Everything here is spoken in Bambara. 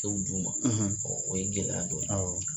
Tɛ o d'u ma ɔ o ye gɛlɛya dɔ ye